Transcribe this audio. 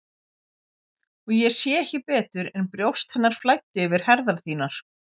Og ég sá ekki betur en brjóst hennar flæddu yfir herðar þínar.